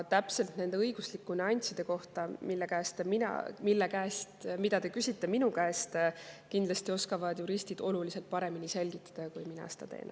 Aga neid õiguslikke nüansse, mille kohta te minu käest küsite, oskavad juristid kindlasti oluliselt paremini selgitada, kui mina seda teen.